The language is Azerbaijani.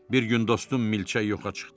Bir gün dostum milçək yoxa çıxdı.